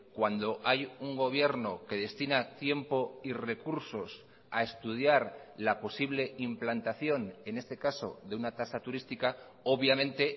cuando hay un gobierno que destina tiempo y recursos a estudiar la posible implantación en este caso de una tasa turística obviamente